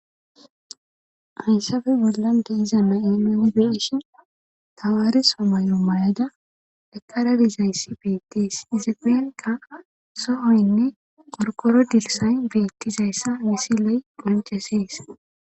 Haysafe bollan de'iza nayo nuni beyishn tamareso mayo mayada deqarabizayssi bettis izappenka sohoynne qorkoro dilsay beettizayssa misi ley qoncisees